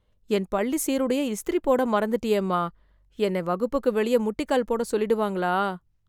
என் பள்ளி சீருடையை இஸ்திரி போட மறந்துட்டியேமா... என்னை வகுப்புக்கு வெளியே, முட்டிக்கால் போடச் சொல்லிடுவாங்களா...